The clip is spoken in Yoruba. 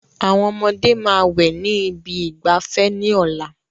Àwọn ọmọdé máa wẹ̀ ní ibi ìgbafẹ́ ní ọ̀la